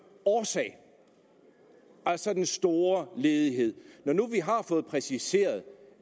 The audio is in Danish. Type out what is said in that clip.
årsag altså den store ledighed når nu vi har fået præciseret